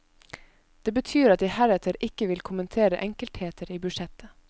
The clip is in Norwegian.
Det betyr at jeg heretter ikke vil kommentere enkeltheter i budsjettet.